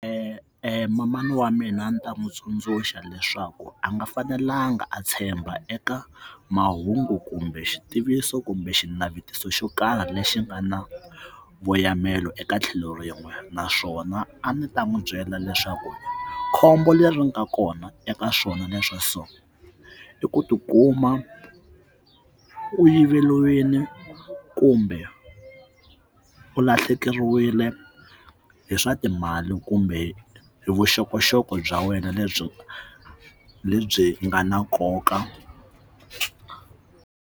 manana wa mina a ni ta n'wi tsundzuxa leswaku a nga fanelangi a tshemba eka mahungu kumbe xitiviso kumbe xinavetiso xo karhi lexi nga na voyameli eka tlhelo rin'we naswona a ndzi ta n'wi byela leswaku khombo leri nga kona eka swona leswa so i ku tikuma u yiveriwile kumbe u lahlekeriwile hi swa timali kumbe vuxokoxoko bya wena lebyi lebyi nga na nkoka.